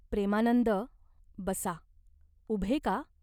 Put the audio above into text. "प्रेमानंद, बसा. उभे का ?